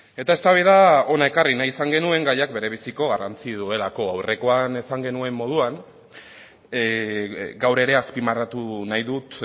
eta eztabaida hona ekarri nahi izan genuen gaiak berebiziko garrantzia duelako aurrekoan esan genuen moduan gaur ere azpimarratu nahi dut